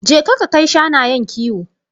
Je ka ka kai shanayen kiwo.